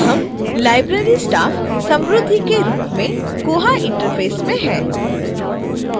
अब हम library staff: samruddhi के रूप में koha interface में हैं